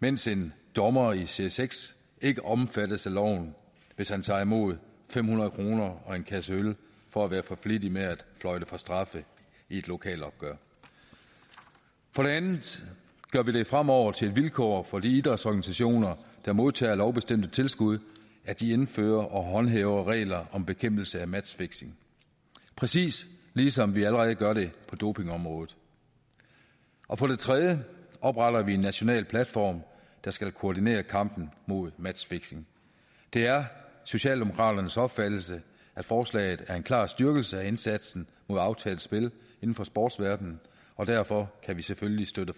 mens en dommer i serie seks ikke omfattes af loven hvis han tager imod fem hundrede kroner og en kasse øl for at være for flittig med at fløjte for straffe i et lokalopgør for det andet gør vi det fremover til et vilkår for de idrætsorganisationer der modtager lovbestemt tilskud at de indfører og håndhæver regler om bekæmpelse af matchfixing præcis ligesom vi allerede gør det på dopingområdet og for det tredje opretter vi en national platform der skal koordinere kampen mod matchfixing det er socialdemokraternes opfattelse at forslaget er en klar styrkelse af indsatsen mod aftalt spil inden for sportsverdenen og derfor kan vi selvfølgelig støtte